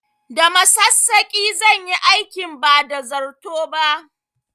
Da masassaƙi zan yi aikin ba da zarto ba